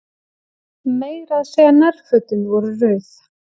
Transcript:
Meira að segja nærfötin voru rauð.